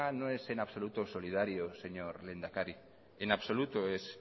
no es en absoluto solidario señor lehendakari en absoluto es